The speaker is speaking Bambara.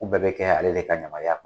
K'u bɛɛ bɛ kɛ ale de ka yamariya